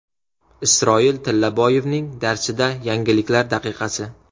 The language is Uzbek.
Isroil Tillaboyevning darsida yangiliklar daqiqasi.